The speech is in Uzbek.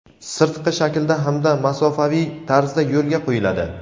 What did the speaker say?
sirtqi shaklda hamda masofaviy tarzda yo‘lga qo‘yiladi.